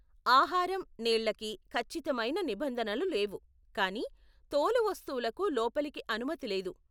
ఆహారం, నీళ్ళకి ఖచ్చితమైన నిబంధనలు లేవు కానీ తోలు వస్తువులకు లోపలికి అనుమతి లేదు.